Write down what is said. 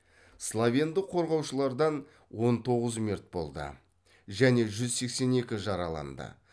словендық қорғаушылардан он тоғыз мерт болды және жүз сексен екі жараланды